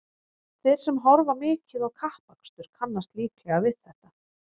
Þeir sem horfa mikið á kappakstur kannast líklega við þetta.